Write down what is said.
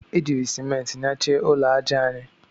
E jiiri Simenti nyachie ụlọ aja anyị.